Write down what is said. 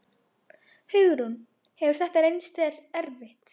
Hún veldur honum vonbrigðum þegar hún talar á þessum nótum.